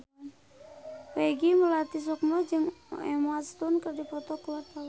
Peggy Melati Sukma jeung Emma Stone keur dipoto ku wartawan